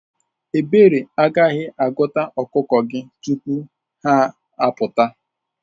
Ebere, igaghi-aguta okuko gi tupu ha aputa.